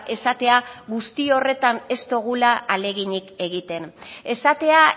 esatea guzti horretan ez dugula ahaleginik egiten esatea